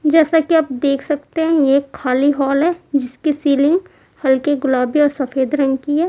जैसा कि आप देख सकते हैं ये खाली हॉल है जिसकी सीलिंग हल्की गुलाबी और सफेद रंग की हैं।